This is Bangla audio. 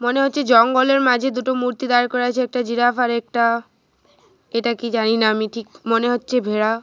মনে হচ্ছে জঙ্গলের মাঝে দুটো মূর্তি দাঁড় করা আছে। একটা জিরাফ আর একটা এটা কি জানিনা আমি ঠিক মনে হচ্ছে ভেড়া।